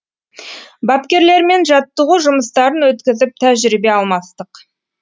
бапкерлермен жаттығу жұмыстарын өткізіп тәжірибе алмастық